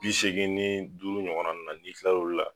Bi segin ni duuru ɲɔgɔn nunnu na i kilal'o la